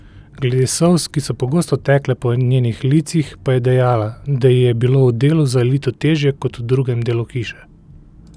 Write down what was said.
Glede solz, ki so pogosto tekle po njenih licih, pa je dejala, da ji je bilo v delu za elito težje kot v drugem delu hiše.